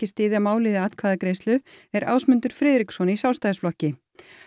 styðja málið í atkvæðagreiðslu er Ásmundur Friðriksson í Sjálfstæðisflokki